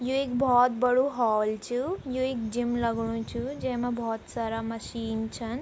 यु एक भोत बड़ू हॉल च यु एक जिम लगणु च जैमा भोत सारा मशीन छन।